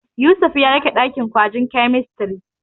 Yusuf ya rufe ɗakin gwajin kemistiri.